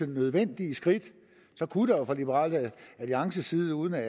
nødvendige skridt kunne der jo fra liberal alliances side uden at